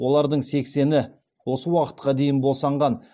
олардың сексені осы уақытқа дейін босанған